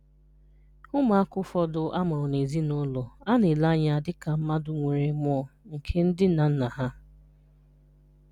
Ụmụaka ụfọdụ a mụrụ na ezinụlọ a na-ele anya dịka mmadụ nwere mmụọ nke ndị nna nna ha.